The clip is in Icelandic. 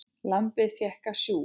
Lambið fékk að sjúga.